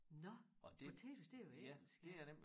Nåh potatoes det jo engelsk ja